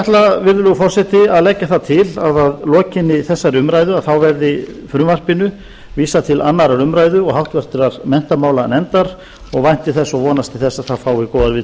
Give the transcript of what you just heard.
ætla virðulegur forseti að leggja það til að að lokinni þessari umræðu verði frumvarpinu vísað til annarrar umræðu og háttvirtur menntamálanefndar og vænti þess og vonast til þess að það fái góðar viðtökur hér í þinginu